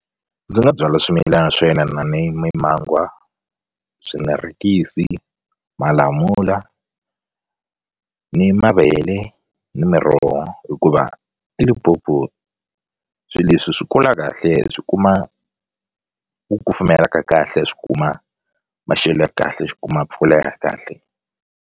Ndzi nga byala swimilana swo yelana ni mimangwa swinarekisi malamula ni mavele ni miroho hikuva eLimpopo swi leswi swi kula kahle swi kuma ku kufumela ka kahle swi kuma maxelo ya kahle swi kuma mpfula ya kahle.